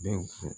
Bɛ fo